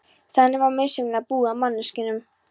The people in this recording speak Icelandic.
Þannig var misjafnlega búið að manneskjunum.